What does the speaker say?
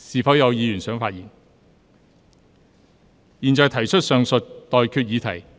我現在向各位提出上述待決議題。